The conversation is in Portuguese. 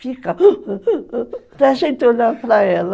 Fica... Para a gente olhar para ela.